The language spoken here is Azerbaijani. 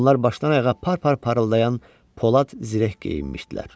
Onlar başdan-ayağa par-par parıldayan polad zirəh geyinmişdilər.